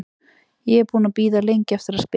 Ég er búinn að bíða lengi eftir að spila.